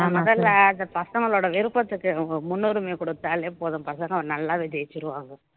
முதல்ல அந்த பசங்களோட விருப்பத்துக்கு முன்னுரிமை கொடுத்தாலே போதும் பசங்க நல்லாவே ஜெயிச்சிருவாங்க